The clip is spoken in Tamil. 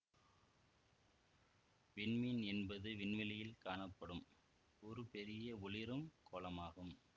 விண்மீன் என்பது விண்வெளியில் காணப்படும் ஒரு பெரிய ஒளிரும் கோளமாகும்